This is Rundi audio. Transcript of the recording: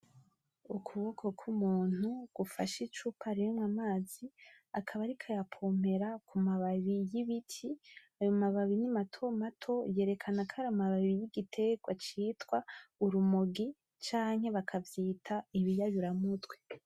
Ukuboko kw'umuntu gufashe icupa ririmwo amazi ariko ayapompera kumababi y'ibiti ayo mababi ni matomato yerekana ko ari amababi y'igiterwa citwa urumogi canke bakavyita ibiyayura mutwe.